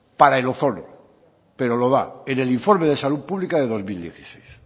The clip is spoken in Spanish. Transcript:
para el ozono pero lo da en el informe de salud pública de dos mil dieciséis